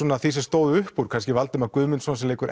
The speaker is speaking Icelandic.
því sem stóð uppúr kannski Valdimar Guðmundsson sem leikur